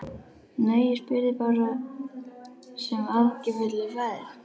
Nei, ég spyr þig bara sem áhyggjufullur faðir.